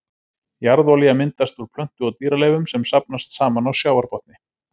Jarðolía myndast úr plöntu- og dýraleifum sem safnast saman á sjávarbotni.